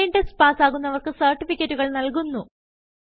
online test പാസ്സാകുന്നവർക്ക് സർട്ടിഫികറ്റുകൾ നല്കുന്നു